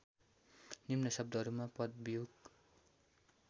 निम्न शब्दहरूमा पदवियोग